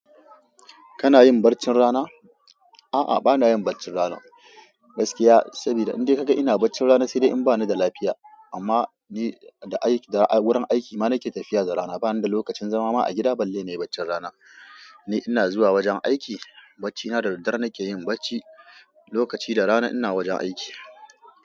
Kana yin barcin rana? A'a, bana yin barcin rana gaskiya, sabida in dai ka ga ina barcin rana sai dai in bani da lafiya. Amma ni da aiki, da wurin aiki ma nake tafiya da rana. Bani da lokacin zama ma a gida. Balle ne barcin rana. Ni ina zuwa wajen aiki, bacina da daddare nake yin barci, lokaci da rana ina wajen aiki.